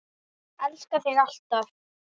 Elska þig alltaf.